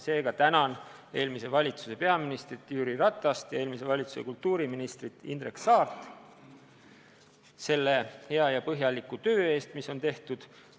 Seega tänan eelmise valitsuse peaministrit Jüri Ratast ja eelmise valitsuse kultuuriministrit Indrek Saart hea ja põhjaliku töö eest, mis on tehtud.